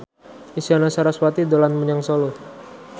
Isyana Sarasvati dolan menyang Solo